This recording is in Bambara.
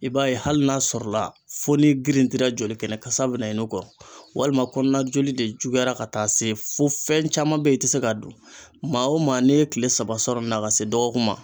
I b'a ye hali n'a sɔrɔla fo n'i girintira joli kɛnɛ kasa bɛna i no kɔ walima kɔnɔna joli de juguyara ka taa se fo fɛn caman be ye i ti se k'a dun. Maa o maa n'e ye kile saba sɔrɔ n na ka se dɔgɔkun ma